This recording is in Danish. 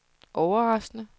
overraskende